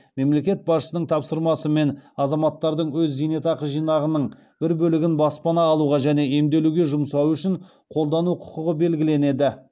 мемлекет басшысының тапсырмасымен азаматтардың өз зейнетақы жинағының бір бөлігін баспана алуға және емделуге жұмсауы үшін қолдану құқығы белгіленеді